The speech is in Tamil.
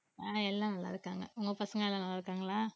ஆஹ் எல்லாம் நல்லா இருக்காங்க உங்க பசங்க எல்லாம் நல்லா இருக்காங்களா